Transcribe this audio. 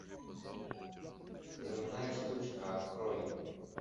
взрывная штучка открой